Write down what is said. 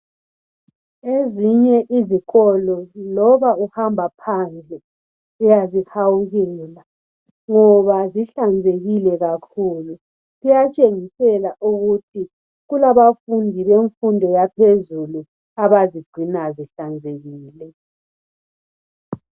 Ezinye izikolo loba uhamba phandle uyazihawukela ngoba zihlanzekile kakhulu, kuyatshengisela ukuthi kulabafundi bemfundo yaphezulu abazigcina zihlanzekile